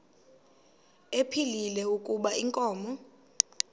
ephilile kuba inkomo